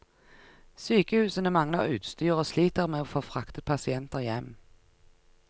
Sykehusene mangler utstyr og sliter med å få fraktet pasienter hjem.